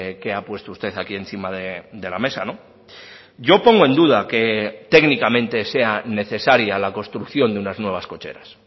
que ha puesto usted aquí encima de la mesa yo pongo en duda que técnicamente sea necesaria la construcción de unas nuevas cocheras